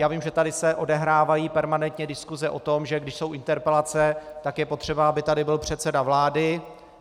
Já vím, že se tady odehrávají permanentně diskuse o tom, že když jsou interpelace, tak je potřeba, aby tady byl předseda vlády.